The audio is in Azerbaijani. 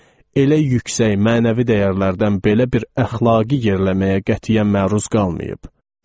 Elə yüksək mənəvi dəyərlərdən belə bir əxlaqi yerləməyə qətiyyən məruz qalmayıb.